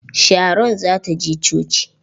Sharon za ta je coci.